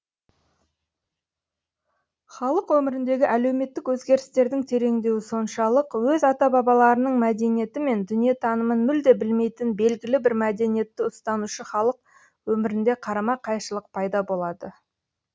халық өміріндегі әлеуметтік өзгерістердің тереңдеуі соншалық өз ата бабаларының мәдениеті мен дүниетанымын мүлде білмейтін белгілі бір мәдениетті ұстанушы халық өмірінде қарама қайшылық пайда болады